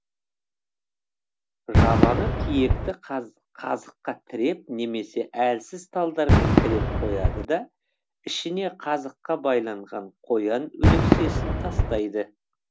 жабаны тиекті қазыққа тіреп немесе әлсіз талдармен тіреп қояды да ішіне қазыққа байланған қоян өлексесін тастайды